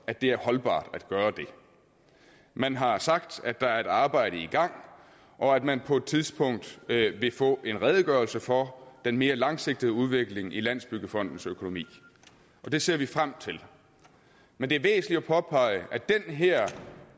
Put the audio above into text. at det er holdbart at gøre det man har sagt at der er et arbejde i gang og at man på et tidspunkt vil få en redegørelse for den mere langsigtede udvikling i landsbyggefondens økonomi og det ser vi frem til men det er væsentligt at påpege at den her